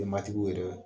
Matigiw yɛrɛ